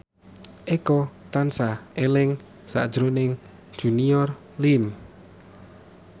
Eko tansah eling sakjroning Junior Liem